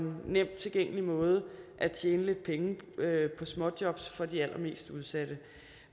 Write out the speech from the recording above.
nemt tilgængelig måde at tjene lidt penge på småjobs på for de allermest udsatte